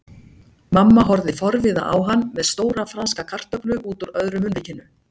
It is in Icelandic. Mamma horfði forviða á hann með stóra franska kartöflu útúr öðru munnvikinu.